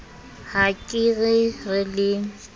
ha ke re re le